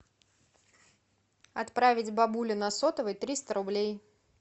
отправить бабуле на сотовый триста рублей